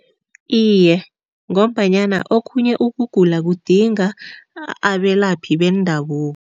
Iye, ngombanyana okhunye ukugula kudinga abelaphi bendabuko.